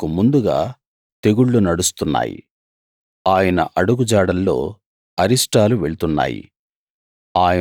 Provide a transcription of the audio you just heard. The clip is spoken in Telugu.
ఆయనకు ముందుగా తెగుళ్లు నడుస్తున్నాయి ఆయన అడుగుజాడల్లో అరిష్టాలు వెళ్తున్నాయి